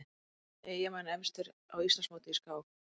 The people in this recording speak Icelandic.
Eyjamenn efstir á Íslandsmóti í skák